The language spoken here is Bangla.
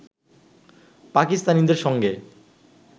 পাকিস্তানিদের সঙ্গে